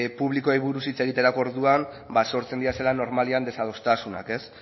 publikoei buruz hitz egiterako orduan ba sortzen direla normalean desadostasunak ez